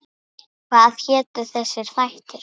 Hvað hétu þessir þættir?